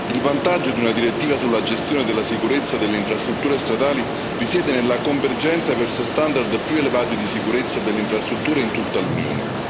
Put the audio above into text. Il vantaggio di una direttiva sulla gestione della sicurezza delle infrastrutture stradali risiede nella convergenza verso standard più elevati di sicurezza delle infrastrutture in tutta l'Unione.